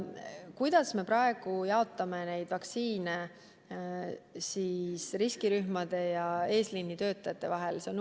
Kuidas me praegu jaotame vaktsiine riskirühmade ja eesliinitöötajate vahel?